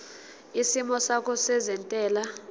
isimo sakho sezentela